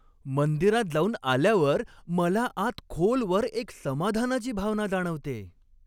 मंदिरात जाऊन आल्यावर मला आत खोलवर एक समाधानाची भावना जाणवतेय.